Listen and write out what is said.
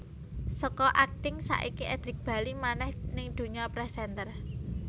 Saka akting saiki Edric bali manèh ning dunya presenter